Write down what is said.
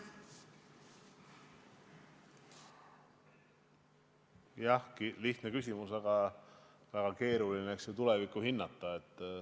Jah, lihtne küsimus, aga väga keeruline on tulevikku hinnata.